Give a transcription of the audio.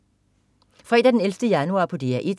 Fredag den 11. januar - DR 1: